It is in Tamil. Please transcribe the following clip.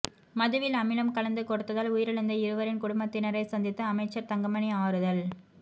மதுவில் அமிலம் கலந்து கொடுத்ததால் உயிரிழந்த இருவரின் குடும்பத்தினரைச் சந்தித்து அமைச்சா் தங்கமணி ஆறுதல்